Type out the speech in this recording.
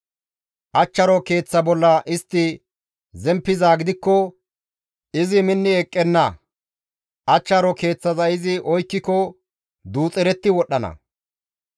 Achcharo keeththa bolla istti zemppizaa gidikko izi minni eqqenna; achcharo keeththaza izi oykkiko duuxeretti wodhdhana.